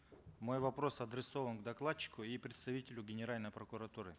мой вопрос адресован докладчику и представителю генеральной прокуратуры